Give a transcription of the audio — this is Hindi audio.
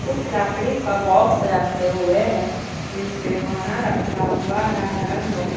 कुछ लकड़ी का बॉक्स रखे हुए हैं जिसपे खाना रखा हुआ है